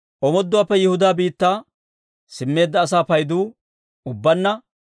Omooduwaappe Yihudaa biittaa simmeedda asaa paydu ubbaanna 42,360.